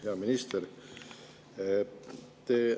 Hea minister!